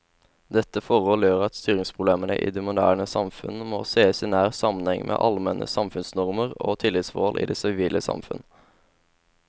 Dette forhold gjør at styringsproblemene i moderne samfunn må sees i nær sammenheng med allmenne samfunnsnormer og tillitsforhold i det sivile samfunn.